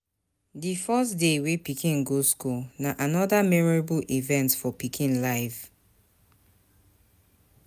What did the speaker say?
Di first day wey pikin go school na anoda memorable event for pikin life